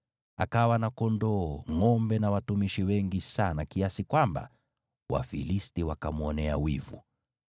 Akawa na mifugo ya kondoo na ngʼombe, na watumishi wengi sana, kiasi kwamba Wafilisti wakamwonea wivu.